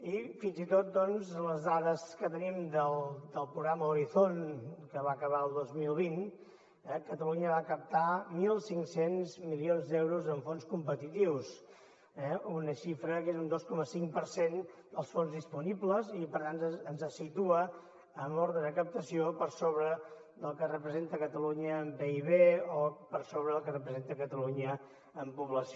i fins i tot segons les dades que tenim del programa horizon que va acabar el dos mil vint catalunya va captar mil cinc cents milions d’euros amb fons competitius eh una xifra que és un dos coma cinc per cent dels fons disponibles i per tant ens situa en l’ordre de captació per sobre del que representa catalunya en pib o per sobre del que representa catalunya en població